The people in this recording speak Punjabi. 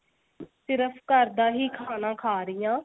ਸਿਰਫ ਘਰ ਦਾ ਹੀ ਖਾਣਾ ਖਾ ਰਹੀ ਆਂ.